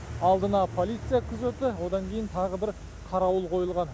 алдына полиция күзеті одан кейін тағы бір қарауыл қойылған